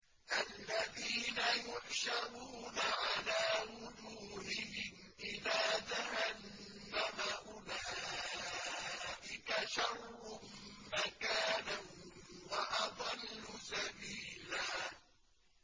الَّذِينَ يُحْشَرُونَ عَلَىٰ وُجُوهِهِمْ إِلَىٰ جَهَنَّمَ أُولَٰئِكَ شَرٌّ مَّكَانًا وَأَضَلُّ سَبِيلًا